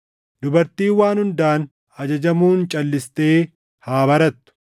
Dubartiin waan hundaan ajajamuun calʼistee haa barattu.